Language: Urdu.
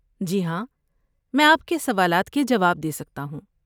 جی ہاں، میں آپ کے سوالات کے جواب دے سکتا ہوں۔